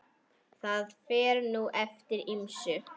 Það fer nú eftir ýmsu.